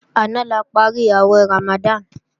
Àná la parí àwẹ̀ Ramadan